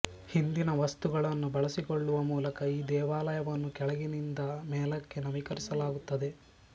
ಹಿಂದಿನ ವಸ್ತುಗಳನ್ನು ಬಳಸಿಕೊಳ್ಳುವ ಮೂಲಕ ಈ ದೇವಾಲಯವನ್ನು ಕೆಳಗಿನಿಂದ ಮೇಲಕ್ಕೆ ನವೀಕರಿಸಲಾಗುತ್ತದೆ